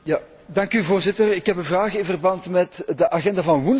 Voorzitter, ik heb een vraag in verband met de agenda van woensdag.